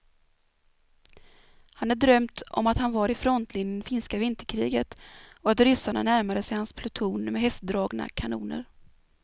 Han hade drömt om att han var i frontlinjen i finska vinterkriget och att ryssarna närmade sig hans pluton med hästdragna kanoner.